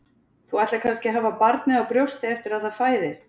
Þú ætlar kannski að hafa barnið á brjósti eftir að það fæðist?